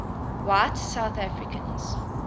white south africans